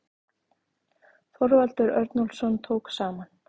Þorvaldur Örnólfsson tók saman.